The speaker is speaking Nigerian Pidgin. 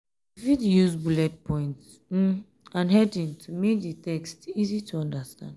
you fit use bullet points um and heading to um make di text easy to understand